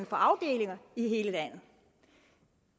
får afdelinger i hele landet